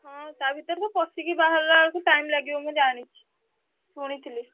ହଁ ତା ଭିତରେ ତ ପଶିକି ବାହାରିଲା ବେଳକୁ time ଲାଗିବ ମୁଁ ଜାଣିଛି ଶୁଣିଥିଲି।